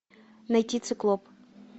найти циклоп